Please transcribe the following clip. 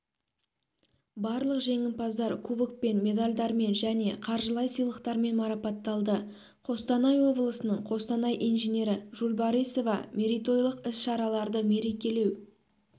барлық жеңімпаздар кубокпен медальдармен және қаржылай сыйлықтармен марапатталды қостанай облысының қостанай инженері жулбарисова мерейтойлық іс-шараларды мерекелеу